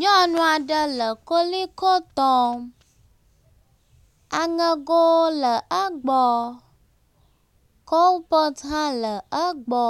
Nyɔnu aɖe le Koliko tɔm. aŋego le egbɔ. Kopɔtu hã le egbɔ.